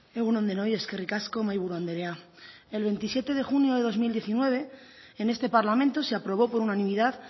egun on denoi eskerrik asko mahaiburu andrea el veintisiete de junio de dos mil diecinueve en este parlamento se aprobó por unanimidad